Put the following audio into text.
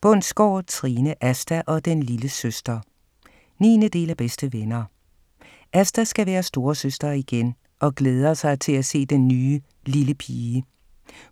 Bundsgaard, Trine: Asta og den lille søster 9. del af Bedste venner. Asta skal være storesøster igen og glæder sig til at se den nye lille pige.